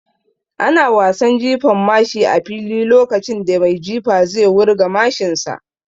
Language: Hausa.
Ana wasan Jifan mashi a fili lokacin da mai jifa zai wurga mashin sa